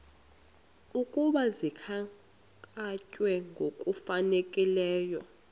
ukuba zikhankanywe ngokufanelekileyo